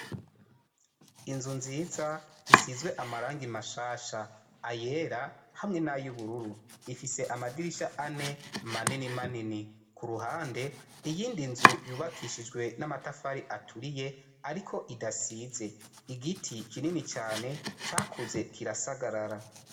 Inzu nziza isizwe amaranga imashasha ayela hamwe n'ayubururu ifise amadirisha ane manini manini ku ruhande iyindi nzu yubakishijwe n'amatafari aturiye, ariko idasize igiti kinini cane cakuze kirasagarara.